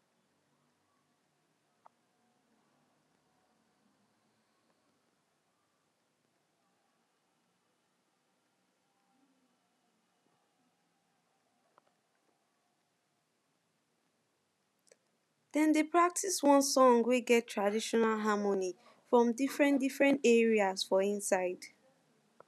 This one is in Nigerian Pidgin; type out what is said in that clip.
dem dey practice one song wey get traditional harmony from different from different different area for inside